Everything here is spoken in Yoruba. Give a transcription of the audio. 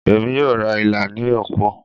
Emi yoo ra ila ni opo